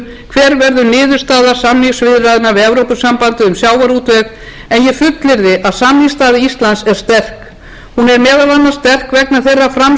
sagt til um hver verður niðurstaða samningaviðræðna við evrópusambandið um sjávarútveg en ég fullyrði að samningsstaða íslands er sterk hún er meðal annars sterk vegna þeirrar framsýni og þess hugrekkis sem